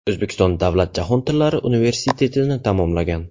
O‘zbekiston davlat jahon tillari universitetini tamomlagan.